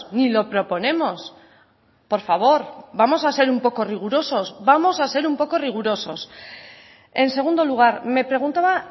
ni lo proponemos por favor vamos a ser un poco rigurosos vamos a ser un poco rigurosos en segundo lugar me preguntaba